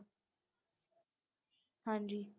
ਹਾਂਜੀ।